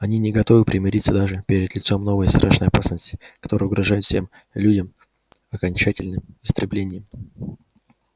они не готовы примириться даже перед лицом новой страшной опасности которая угрожает всем людям окончательным истреблением